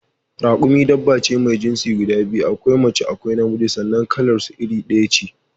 Rakumi dabba ce mai jinsi guda biyu: akwai mace akwai na miji sannan kalar su iri ɗaya ce